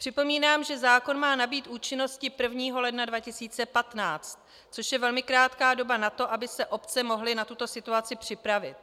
Připomínám, že zákon má nabýt účinnosti 1. ledna 2015, což je velmi krátká doba na to, aby se obce mohly na tuto situaci připravit.